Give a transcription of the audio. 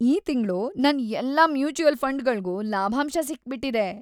ಈ ತಿಂಗ್ಳು ನನ್ ಎಲ್ಲಾ ಮ್ಯೂಚುವಲ್ ಫಂಡ್‌ಗಳ್ಗೂ ಲಾಭಾಂಶ ಸಿಕ್ಬಿಟಿದೆ.